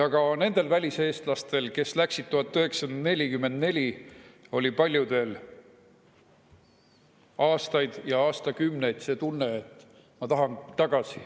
Ka nendel väliseestlastel, kes läksid siit aastal 1944, oli paljudel aastaid ja aastakümneid see tunne, et ma tahan tagasi.